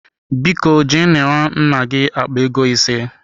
Biko je nara nna gi akpa ego ise.